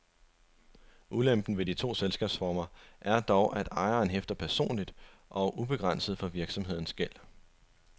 Ulempen ved de to selskabsformer er dog, at ejeren hæfter personligt og ubegrænset for virksomhedens gæld.